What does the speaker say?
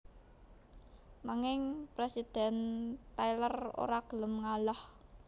Nanging Presiden Tyler ora gelem ngalah